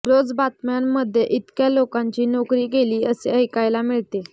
रोज बातम्यांमध्ये इतक्या लोकांची नोकरी गेली असे ऐकायला मिळते